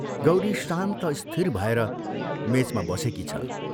गौरी शान्त स्थिर भएर मेचमा बसेकी छ।